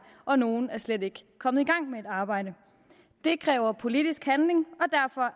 og nogle er slet ikke kommet i gang med et arbejde det kræver politisk handling